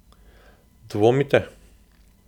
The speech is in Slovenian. Dvomite?